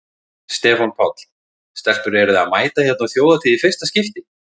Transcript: Stefán Páll: Stelpur eruð þið að mæta hérna á Þjóðhátíð í fyrsta skipti?